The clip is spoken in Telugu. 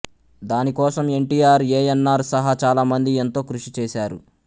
దానికోసం ఎన్టీఆర్ ఏఎన్నార్ సహా చాలా మంది ఎంతో కృషి చేసారు